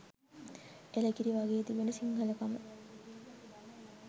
එළකිරි වගෙ තිබෙන සිංහලකම